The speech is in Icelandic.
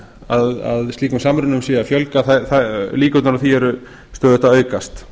að slíkum samrunum sé að fjölga líkurnar á því eru stöðugt að aukast